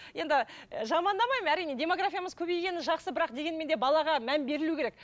енді і жамандамаймын әрине демографиямыз көбейгені жақсы бірақ дегенмен де балаға мән берілу керек